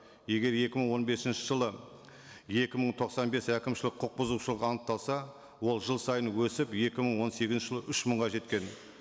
егер екі мың он бесінші жылы екі мың тоқсан бес әкімшілік құқық бұзушылық анықталса ол жыл сайын өсіп екі мың он сегізінші жылы үш мыңға жеткен